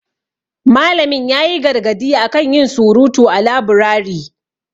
Malamin ya yi gargadi a kan yin surutu a laburari.